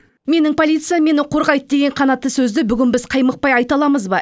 менің полициям мені қорғайды деген қанатты сөзді бүгін біз қаймықпай айта аламыз ба